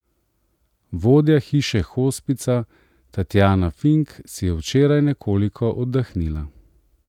Vodja Hiše hospica Tatjana Fink si je včeraj nekoliko oddahnila.